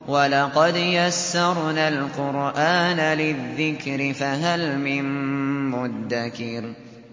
وَلَقَدْ يَسَّرْنَا الْقُرْآنَ لِلذِّكْرِ فَهَلْ مِن مُّدَّكِرٍ